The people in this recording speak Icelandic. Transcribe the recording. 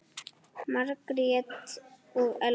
Margrét og Elfa.